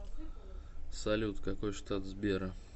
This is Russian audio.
салют какой штат сбера